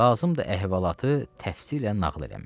Lazımdır əhvalatı təfsilən nəql eləmək.